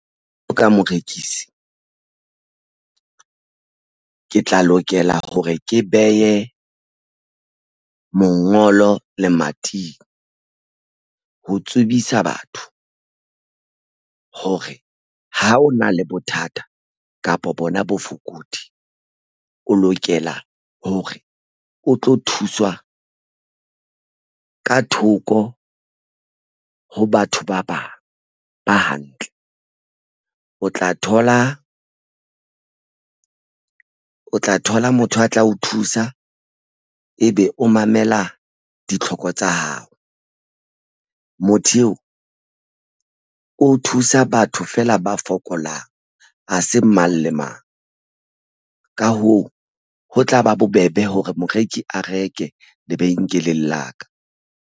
O ka morekisi ke tla lokela hore ke behe mongolo lemating ho tsebisa batho hore ha o na le bothata kapa bona bofokodi o lokela hore o tlo thuswa ka thoko ho batho ba bang ba hantle o tla thola motho a tla o thusa ebe o mamela ditlhoko tsa hao. Motho eo thusa batho feela ba fokolang ha se mang le mang. Ka hoo, ho tlaba bobebe hore moreki a reke lebenkeleng la ka.